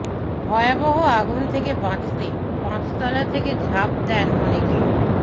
ভয়াবহ আগুন থেকে বাঁচতে পাঁচতলা থেকে ঝাঁপ দেন অনেকে